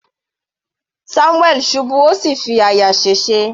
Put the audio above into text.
Samuel ṣubú ó sì fi àyà sèse.